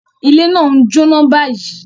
Ile naa n jóná báyìí.